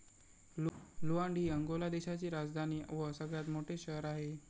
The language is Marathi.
लुआंड हि अंगोला देशाची राजधानी व सगळ्यात मोठे शहर आहे.